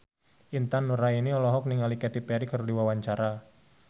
Intan Nuraini olohok ningali Katy Perry keur diwawancara